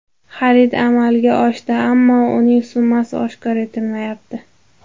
Xarid amalga oshdi, ammo uning summasi oshkor etilmayapti.